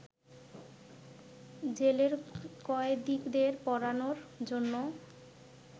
জেলের কয়েদীদের পড়ানোর জন্য